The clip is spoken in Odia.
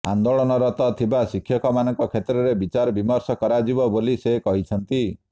ଆନ୍ଦୋଳନରତ ଥିବା ଶିକ୍ଷକମାନଙ୍କ କ୍ଷେତ୍ରରେ ବିଚାର ବିମର୍ଷ କରାଯିବ ବୋଲି ସେ କହିଛନ୍ତି